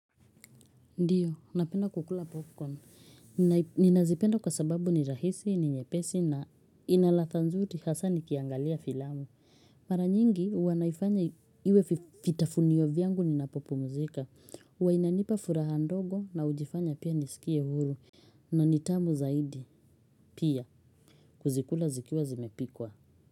Ndiyo, napenda kukula popcorn. Ninazipenda kwa sababu ni rahisi, ni nyepesi na inaladha nzuri hasa nikiangalia filamu. Mara nyingi, huwa naifanya iwe vitafunio vyangu ninapopumzika. Huwa inanipa furaha ndogo na hujifanya pia nisikie huru. Na ni tamu zaidi, pia. Kuzikula zikiwa zimepikwa.